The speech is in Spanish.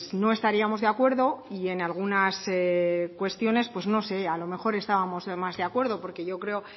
no estaríamos de acuerdo y en algunas cuestiones pues no sé a lo mejor estábamos de más de acuerdo porque yo creo